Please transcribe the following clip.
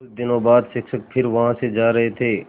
कुछ दिनों बाद शिक्षक फिर वहाँ से जा रहे थे